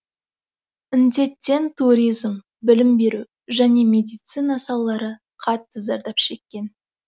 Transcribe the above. індеттен туризм білім беру және медицина салалары қатты зардап шеккен